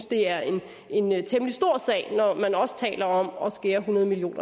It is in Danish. det er en temmelig stor sag når man også taler om at skære hundrede million